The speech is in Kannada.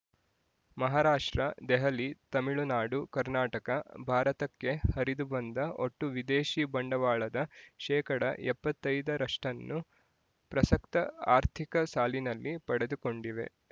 ಮಹಾರಾಷ್ಟ್ರದೆಹಲಿ ತಮಿಳುನಾಡುಕರ್ನಾಟಕ ಭಾರತಕ್ಕೆ ಹರಿದು ಬಂದ ಒಟ್ಟು ವಿದೇಶಿ ಬಂಡವಾಳದ ಶೇಕಡಾ ಎಪ್ಪತ್ತೈದರಷ್ಟನ್ನು ಪ್ರಸಕ್ತ ಆರ್ಥಿಕ ಸಾಲಿನಲ್ಲಿ ಪಡೆದುಕೊಂಡಿವೆ